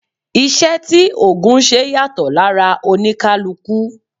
Iṣẹ́ tí ògùn ńṣe yàtọ̀ lára oníkálukú